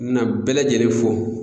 Na bɛɛ lajɛlen fo